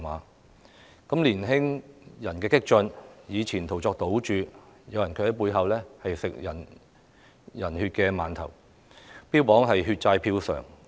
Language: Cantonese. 當激進的年青人以前途作賭注的同時，有人卻在背後吃人血饅頭，標榜"血債票償"。